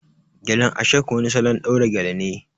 Gelen ashoke wani salon ɗaura gele ne